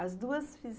As duas fize